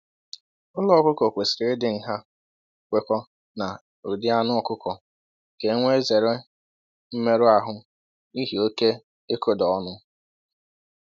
Ụlọ ọkụkọ kwesịrị ịdị nha kwekọọ na ụdị anụ ọkụkọ ka e wee zere mmerụ ahụ́ n’ihi oke ịkụda ọnụ